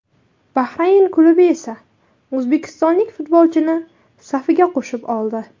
Bahrayn klubi esa o‘zbekistonlik futbolchini safiga qo‘shib oldi.